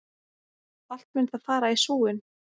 Allt mun það fara í súginn!